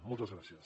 moltes gràcies